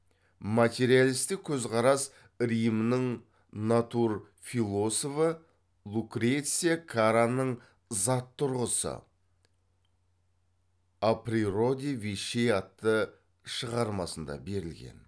материалистік көзқарас римнің натурфилософы лукреция караның зат тұрғысы о природе вещей атты шығармасында берілген